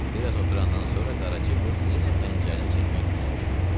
Bir az oturandan sonra Qaraca qız yenə pəncərəni çəkmək fikrinə düşdü.